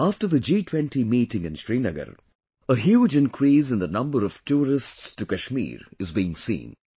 After the G20 meeting in Srinagar, a huge increase in the number of tourists to Kashmir is being seen